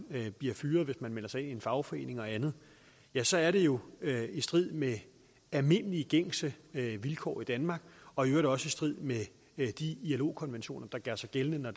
bliver fyret hvis man melder sig ind i en fagforening og andet ja så er det jo i strid med almindelige gængse vilkår i danmark og i øvrigt også i strid med de ilo konventioner der gør sig gældende når